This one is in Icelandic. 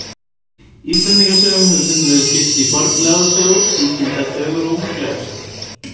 Íslendingasögum hefur stundum verið skipt í fornlegar sögur, sígildar sögur og unglegar sögur.